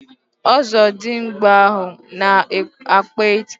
Ozodimgba ahu na-akpa ike